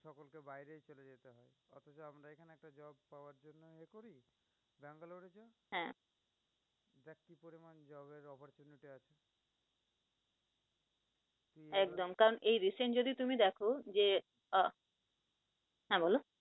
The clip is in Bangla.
একদম, কারন এই recent যদি তুমি দেখ যে আহ হ্যাঁ বল